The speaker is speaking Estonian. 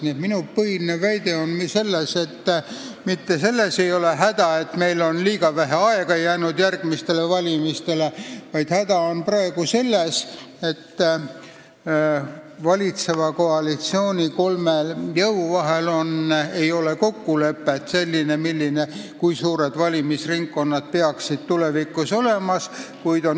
Nii et minu põhiline väide on selline: mitte selles ei ole praegu häda, et meil on järgmiste valimisteni liiga vähe aega jäänud, vaid häda on selles, et valitseva koalitsiooni kolme jõu vahel ei ole kokkulepet, kui suured peaksid valimisringkonnad tulevikus olema.